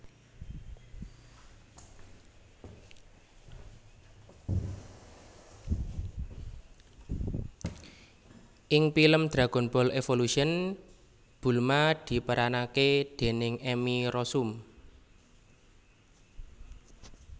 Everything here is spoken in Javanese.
Ing pilem Dragonball Evolution Bulma diperanake déning Emmy Rossum